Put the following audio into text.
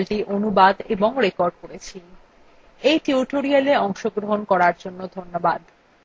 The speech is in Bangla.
আমি অন্তরা এই টিউটোরিয়ালটি অনুবাদ এবং রেকর্ড করেছি এই টিউটোরিয়ালএ অংশগ্রহন করার জন্য ধন্যবাদ